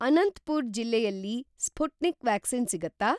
ಅನಂತಪುರ್ ಜಿಲ್ಲೆಯಲ್ಲಿ Sputnik vaccine ಸಿಗತ್ತಾ?